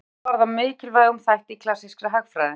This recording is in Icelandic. Greining hans varð að mikilvægum þætti í klassískri hagfræði.